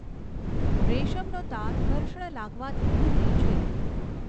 રેશમનો તાર ઘર્ષણ લાગવાથી તૂટે છે.